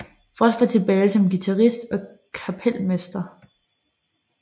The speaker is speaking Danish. Frost var tilbage som guitarist og kapelmester